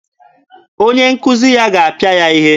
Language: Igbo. Onye nkuzi ya ga-apịa ya ihe.